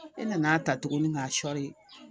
E nana ta tuguni k'a sɔɔri